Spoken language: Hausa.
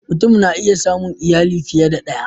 Mutum na iya samun iyali fiye da ɗaya